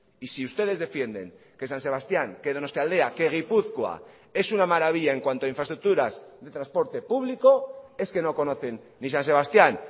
y si ustedes defienden que san sebastián que donostialdea que gipuzkoa es una maravilla en cuanto a infraestructuras de transporte público es que no conocen ni san sebastián